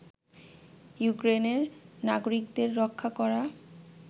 ইউক্রেনের নাগরিকদের রক্ষা করা